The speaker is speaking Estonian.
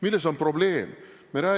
Milles on probleem?